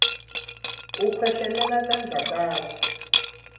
ukhwehlelele tandla takho